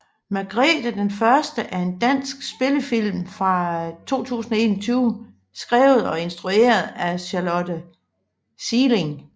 Margrete den Første er en dansk spillefilm fra 2021 skrevet og instrueret af Charlotte Sieling